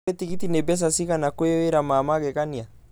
Olly tigitĩni mbeca cĩgana kwi wĩra ma magegania